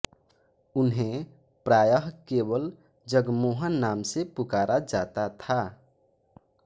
उन्हें प्रायः केवल जगमोहन नाम से पुकारा जाता था